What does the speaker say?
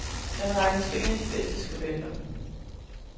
Han regnes for en af de bedste skribenter.